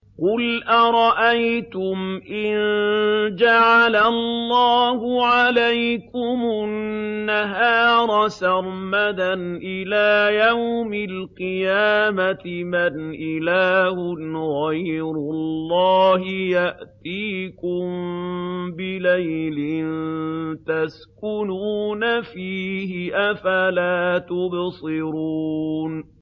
قُلْ أَرَأَيْتُمْ إِن جَعَلَ اللَّهُ عَلَيْكُمُ النَّهَارَ سَرْمَدًا إِلَىٰ يَوْمِ الْقِيَامَةِ مَنْ إِلَٰهٌ غَيْرُ اللَّهِ يَأْتِيكُم بِلَيْلٍ تَسْكُنُونَ فِيهِ ۖ أَفَلَا تُبْصِرُونَ